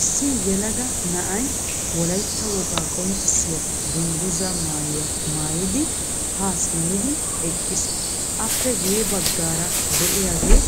Issi yelaga na'ay wolaytta wogaa qonccissiya dungguzza maayuwa maayidi ha simmidi eqqiis. Appe guye baggaara de'iyaagee